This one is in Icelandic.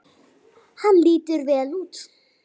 Hann lítur vel út.